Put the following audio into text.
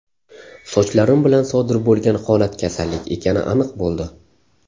Sochlarim bilan sodir bo‘lgan holat kasallik ekani aniq bo‘ldi.